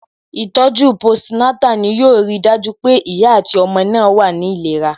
Ìtọ̀ju post Natal ni yo ri dájú pé ìyá àti ọmọ náà wà ní ìlera